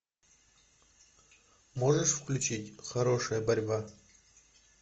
можешь включить хорошая борьба